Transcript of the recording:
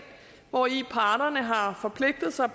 hvori parterne har forpligtet sig